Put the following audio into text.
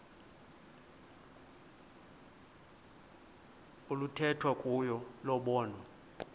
oluthethwa kuyo lobonwa